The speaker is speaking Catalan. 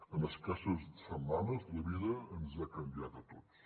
en escasses setmanes la vida ens ha canviat a tots